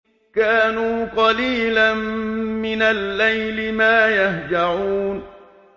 كَانُوا قَلِيلًا مِّنَ اللَّيْلِ مَا يَهْجَعُونَ